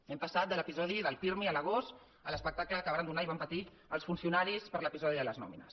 hem passat de l’episodi del pirmi a l’agost a l’espectacle que varen donar i van patir els funcionaris per l’episodi de les nòmines